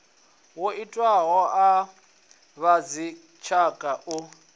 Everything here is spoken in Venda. yo itiwaho a vhadzitshaka u